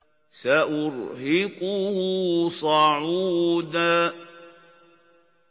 سَأُرْهِقُهُ صَعُودًا